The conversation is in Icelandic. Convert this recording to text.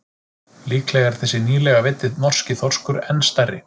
Líklega er þessi nýlega veiddi norski þorskur enn stærri.